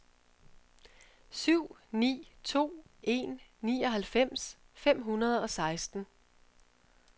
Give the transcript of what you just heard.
syv ni to en nioghalvfems fem hundrede og seksten